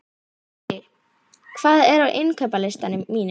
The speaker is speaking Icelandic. Frissi, hvað er á innkaupalistanum mínum?